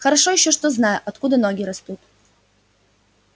хорошо ещё что знаю откуда ноги растут